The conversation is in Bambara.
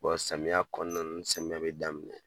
samiyɛ kɔnɔna na ni samiyɛ bɛ daminɛ.